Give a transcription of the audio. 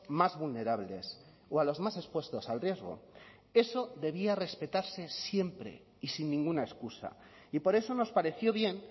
más vulnerables o a los más expuestos al riesgo eso debía respetarse siempre y sin ninguna excusa y por eso nos pareció bien